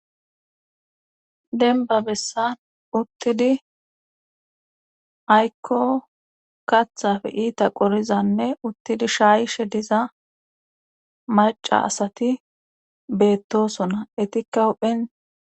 Dembba bessan uttidi aykko kathappe iita qorizanne uttidi shaayishe diza maca asati beettosona etikka huphen.